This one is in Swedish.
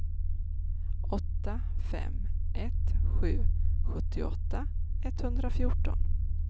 åtta fem ett sju sjuttioåtta etthundrafjorton